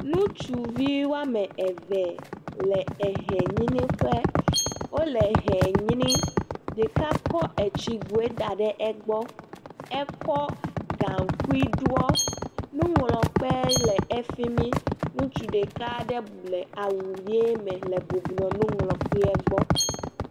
Ŋutsuvi wɔme eve le ehenyraƒe. wo le ehɛ nyram. Ɖeka kɔ etsigoe da ɖe egbɔ. Ekɔ gaŋkui ɖɔ. Nuŋlɔkpe le efi mi. Ŋutsu ɖeka aɖe ble le awu ʋi me le bublɔ nuŋlɔkpe gbɔ.